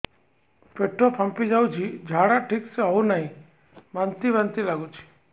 ପେଟ ଫାମ୍ପି ଯାଉଛି ଝାଡା ଠିକ ସେ ହଉନାହିଁ ବାନ୍ତି ବାନ୍ତି ଲଗୁଛି